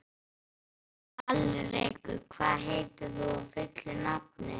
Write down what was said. Alrekur, hvað heitir þú fullu nafni?